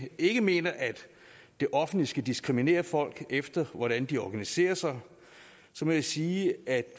ikke mener at det offentlige skal diskriminere folk efter hvordan de organiserer sig så må jeg sige at